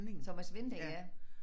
Thomas Winding ja